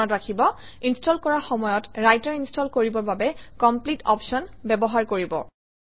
মনত ৰাখিব ইনষ্টল কৰাৰ সময়ত ৰাইটাৰ ইনষ্টল কৰিবৰ বাবে কমপ্লিট অপশ্যন ব্যৱহাৰ কৰিব